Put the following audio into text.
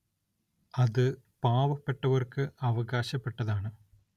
അത് പാവപ്പെട്ടവർക്ക് അവകാശപ്പെട്ടതാണ്.